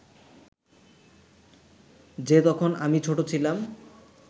যে তখন আমি ছোট ছিলাম